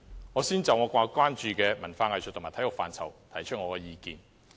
我先就我關注的文化藝術和體育範疇提出意見。